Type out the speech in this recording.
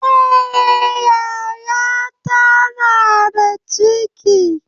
Eh, yaya ta na da ciki